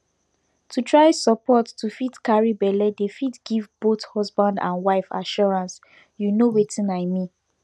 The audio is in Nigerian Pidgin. to try support to fit carry belle dey fit give both husband and wife assurance you know wetin i mean